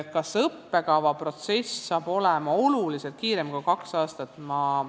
Kas õppekavaprotsess hakkab olema oluliselt lühem kui kaks aastat?